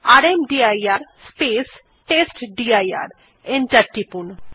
enter টিপুন